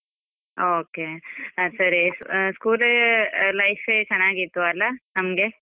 Okay ಹ ಸರಿ school ಯೇ life ಚೆನ್ನಾಗ್ ಇತ್ತು ಅಲ, ನಮ್ಗೆ.